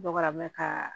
Dɔgɔ mɛn ka